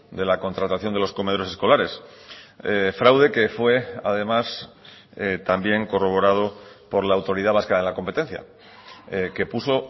de la contratación de los comedores escolares fraude que fue además también corroborado por la autoridad vasca de la competencia que puso